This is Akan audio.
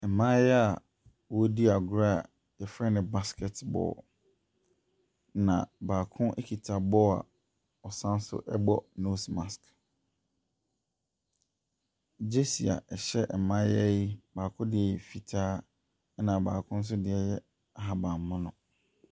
Mmaayewa a wɔredi agorɔ a yɛfrɛ no basket ball. Na baako kita ball a ɔsan so bɔ nose marsk. Gyesi a ɛhyɛ mmaayea yi, baako deɛ fitaa na baako nso deɛ yɛ ahabanmono.